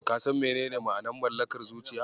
Ka san menene ma'anar Mallakar zuciya?